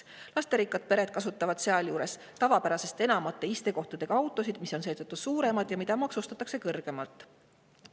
Lasterikkad pered kasutavad sealjuures tavapärasest enamate istekohtadega autosid, mis on seetõttu suuremad ja mida maksustatakse kõrgemalt.